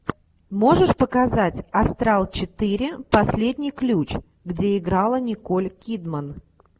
можешь показать астрал четыре последний ключ где играла николь кидман